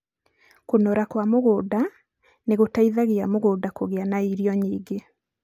kũnora kwa mũgũnda nĩ gũteithagia mũgũnda kũgĩa na irio nyingĩ.